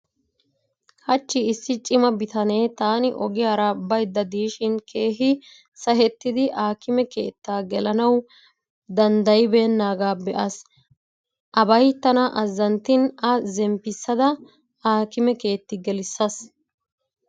Hachchi issi cima bitanee taani ogiyaara baydda diishin keehi sahettidi aakime keettaa gelanawu danddayibeennaaga be'aas. Abay tana azzanttin A zemppissada aakime keetti gelissaas.